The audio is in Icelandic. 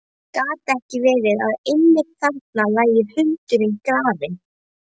Gat ekki verið að einmitt þarna lægi hundurinn grafinn?